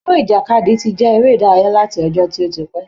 Eré ìjàkadì ti jẹ́ eré ìdárayá láti ọjọ́ tó ti pẹ́.